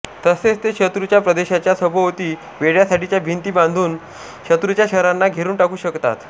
तसेच ते शत्रूच्या प्रदेशाच्या सभोवती वेढ्यासाठीच्या भिंती बांधून शत्रूच्या शहरांना घेरून टाकू शकतात